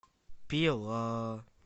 пила